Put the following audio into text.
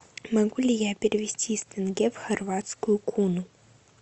могу ли я перевести из тенге в хорватскую куну